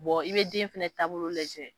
i bɛ den fana taabolo lajɛ